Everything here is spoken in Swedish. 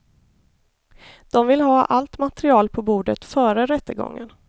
De vill ha allt material på bordet före rättegången.